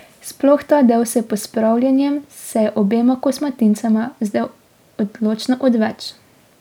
Sploh ta del s pospravljanjem se je obema kosmatincema zdel odločno odveč.